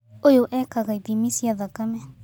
Ũyũ eekaga ithimi cia thakame